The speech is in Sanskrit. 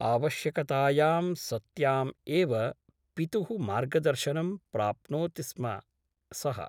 आवश्यकतायां सत्याम् एव पितुः मार्गदर्शनं प्राप्नोति स्म सः ।